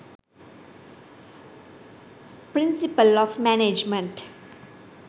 principle of management